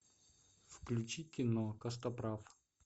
включи кино костоправ